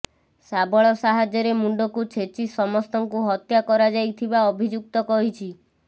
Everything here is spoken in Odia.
ଶାବଳ ସାହାଯ୍ୟରେ ମୁଣ୍ଡକୁ ଛେଚି ସମସ୍ତଙ୍କୁ ହତ୍ୟା କରାଯାଇଥିବା ଅଭିଯୁକ୍ତ କହିଛି